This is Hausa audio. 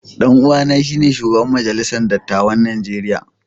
Dan uwana shine shugaban majalisar dattawan Najeriya.